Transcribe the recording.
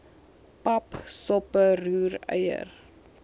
pap soppe roereier